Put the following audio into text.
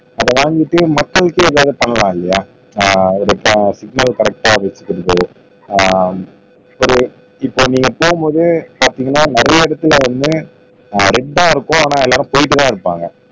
அத வாங்கிட்டு மக்களுக்கே வேலை பண்ணலாம் இல்லையா ஆஹ் இததான் சிக்னல் கரெக்டா வச்சிக்கிறது ஆஹ் இப்படி இப்போ நீங்க போகும் போது பார்த்தீங்கன்னா நிறைய இடத்துல வந்து ஆஹ் ரெட்டா இருக்கும் ஆனா எல்லாரும் போயிட்டுதான் இருப்பாங்க